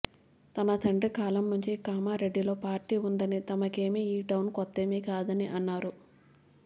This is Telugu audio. తన తండ్రి కాలంనుంచి కామారెడ్డిలో పార్టీ ఉందని తమకేమీ ఈ టౌన్ కొత్తేమి కాదని అన్నారు